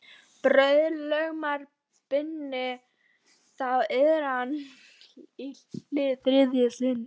Bauð lögmaður Birni þá iðran í hið þriðja sinn.